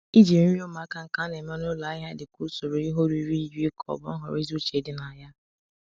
Ijiri nri ụmụaka nke a na-eme n'ụlọ ahịa dị ka usoro ihe oriri yiri ka ọ bụ nhọrọ ezi uche dị na ya.